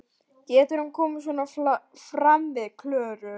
Getur hann komið svona fram við Klöru?